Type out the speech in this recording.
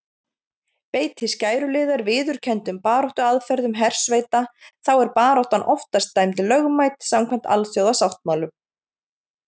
Beiti skæruliðar viðurkenndum baráttuaðferðum hersveita þá er baráttan oftast dæmd lögmæt samkvæmt alþjóðasáttmálum.